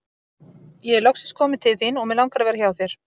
Ég er loksins kominn til þín og mig langar að vera hjá þér.